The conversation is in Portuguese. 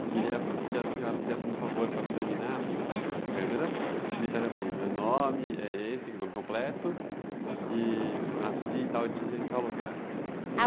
Eu queria que a senhora fizesse um favor para terminar. Ãh.lhasse para a câmera.h. dissesse assim, meu nome é esse, o nome completo...h. nasci tal dia em tal lugar.)